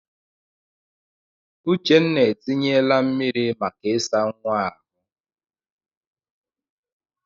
Uchenna etinyela mmiri maka ịsa nwa ahụ.